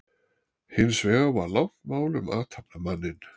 Hins vegar var langt mál um athafnamanninn